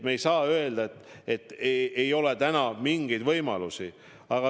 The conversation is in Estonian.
Me ei saa öelda, et ei ole täna mingeid võimalusi.